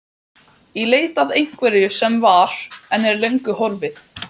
Í leit að einhverju sem var, en er löngu horfið.